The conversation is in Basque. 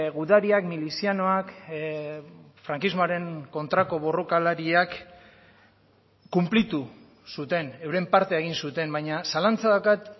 gudariak milizianoak frankismoaren kontrako borrokalariak konplitu zuten euren partea egin zuten baina zalantza daukat